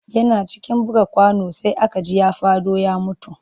Yana cikin buga kwano sai aka ji ya faɗo ya mutu